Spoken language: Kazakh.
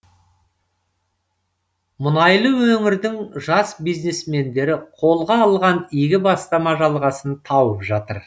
мұнайлы өңірдің жас бизнесмендері қолға алған игі бастама жалғасын тауып жатыр